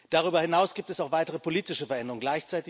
Darüber hinaus gibt es auch weitere politische Veränderungen.